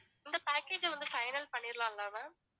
இந்த package அ வந்து final பண்ணிடலாம்ல ma'am